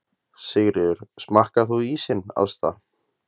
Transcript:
Sigríður: Smakkaðir þú ísinn, Ásta?